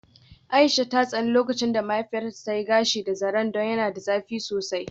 Aisha ta tsani lokacin da mahaifiyarta ta yi gashinta da zaren don yana da zafi sosai.